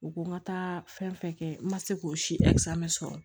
U ko n ka taa fɛn fɛn kɛ n ma se k'o si sɔrɔ